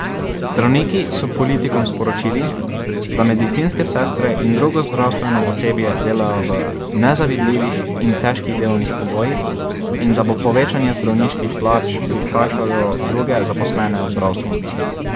Zdravniki so politikom sporočili, da medicinske sestre in drugo zdravstveno osebje delajo v nezavidljivih in težkih delovnih pogojih in da bo povečanje zdravniških plač prikrajšalo druge zaposlene v zdravstvu.